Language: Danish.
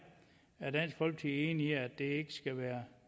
er enig i at det ikke skal være